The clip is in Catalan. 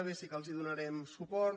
b sí que els donarem suport